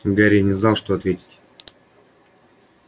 гарри не знал что ответить